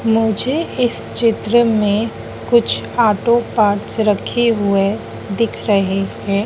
मुझे इस चित्र में कुछ ऑटो पार्ट्स रखे हुए दिख रहे हैं।